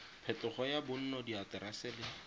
phetogo ya bonno diaterese le